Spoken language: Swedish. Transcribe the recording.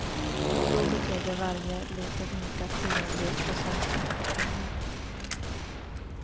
Då betyder varje liten ynka tiondels procent mycket pengar.